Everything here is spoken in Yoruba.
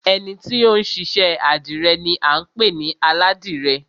Ẹni ti ó ń ṣiṣẹ́ àdìrẹ ni à ń pè ní Aládìrẹ